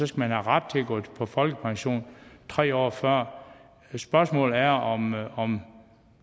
skal have ret til at gå på folkepension tre år før spørgsmålet er om er om